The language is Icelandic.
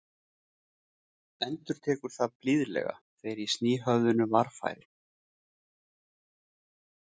Endurtekur það blíðlega þegar ég sný höfðinu varfærin.